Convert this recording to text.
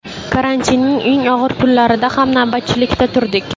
Karantinning eng og‘ir kunlarida ham navbatchilikda turdik.